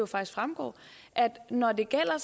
faktisk fremgår at når det gælder